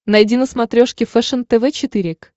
найди на смотрешке фэшен тв четыре к